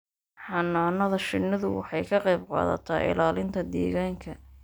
Xannaanada shinnidu waxay ka qayb qaadataa ilaalinta deegaanka.